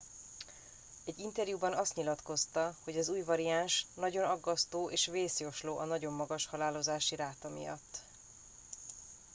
egy interjúban azt nyilatkozta hogy az új variáns nagyon aggasztó és vészjósló a nagyon magas halálozási ráta miatt